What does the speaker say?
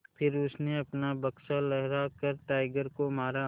फिर उसने अपना बक्सा लहरा कर टाइगर को मारा